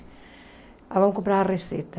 Vamos comprar a receita.